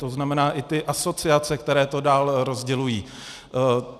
To znamená i ty asociace, které to dál rozdělují.